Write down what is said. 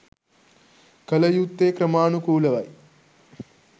කළ යුත්තේ ක්‍රමානුකූලවයි